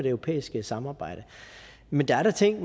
europæiske samarbejde men der er da ting